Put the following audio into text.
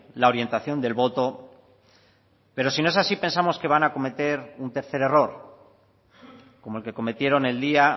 la orientación del voto pero si no es así pensamos que van a cometer un tercer error como el que cometieron el día